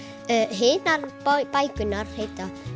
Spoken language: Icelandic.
hinar bækurnar heita